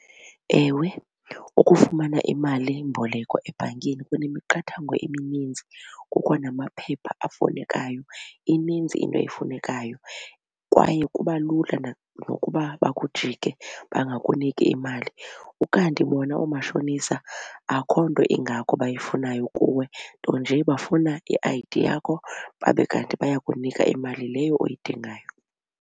Ewe, ukufumana imalimboleko ebhankini kunemiqathango emininzi. Kukho namaphepha afunekayo ininzi into efunekayo kwaye kuba lula nokuba bakujike bangakuniki imali. Ukanti bona oomashonisa akho nto ingako bayifunayo kuwe nto nje bafuna i-I_D yakho babe kanti bayakunika imali leyo uyidingayo.